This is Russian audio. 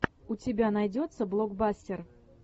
у тебя найдется блокбастер